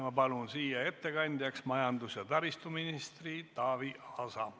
Ma palun ettekandjaks majandus- ja taristuminister Taavi Aasa.